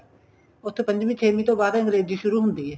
ਉੱਥੇ ਪੰਜਵੀ ਛੇਵੀ ਤੋਂ ਬਾਅਦ ਅੰਗਰੇਜੀ ਸ਼ੁਰੂ ਹੁੰਦੀ ਏ